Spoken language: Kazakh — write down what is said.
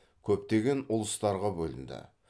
көптеген ұлыстарға бөлінді